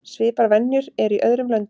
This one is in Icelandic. Svipaðar venjur eru í öðrum löndum.